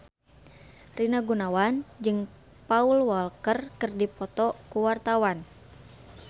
Rina Gunawan jeung Paul Walker keur dipoto ku wartawan